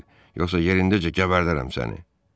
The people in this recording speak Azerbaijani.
Yolumdan çəkil, yoxsa yerindəcə gəbərdərəm səni.